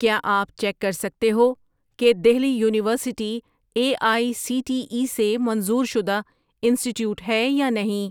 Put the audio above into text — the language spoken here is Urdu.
کیا آپ چیک کر سکتے ہو کہ Delhi university A I C T E سے منظور شدہ انسٹی ٹییوٹ ہے یا نہیں؟